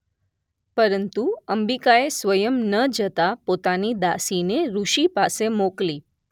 પરંતુ અંબિકાએ સ્વયં ન જતા પોતાની દાસીને ઋષિ પાસે મોકલી.